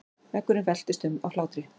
Veggurinn veltist um af hlátri.